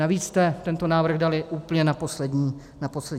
Navíc jste tento návrh dali úplně na poslední chvíli.